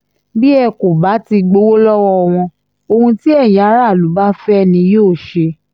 bí ẹ kò bá ti gbowó lọ́wọ́ wọn ohun tí ẹ̀yin aráàlú bá fẹ́ ni yóò ṣe